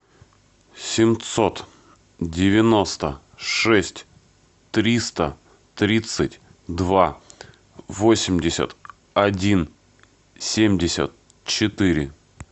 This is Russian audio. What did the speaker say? семьсот девяносто шесть триста тридцать два восемьдесят один семьдесят четыре